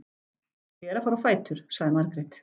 Ég er að fara á fætur, sagði Margrét.